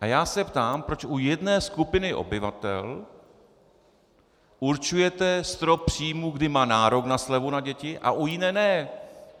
A já se ptám, proč u jedné skupiny obyvatel určujete strop příjmů, kdy má nárok na slevu na děti, a u jiné ne.